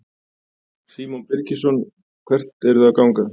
Símon Birgisson: Hvert eruð þið að ganga?